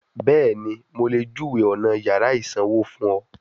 Bẹ́ẹ̀ni, mo lè júwèé ọ̀nà yàrá ìsanwó fún ọ